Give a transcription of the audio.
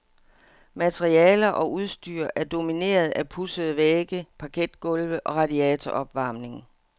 Materialer og udstyr er domineret af pudsede vægge, parketgulve og radiatoropvarmning.